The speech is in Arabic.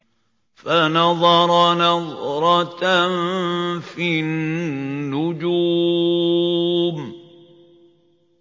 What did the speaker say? فَنَظَرَ نَظْرَةً فِي النُّجُومِ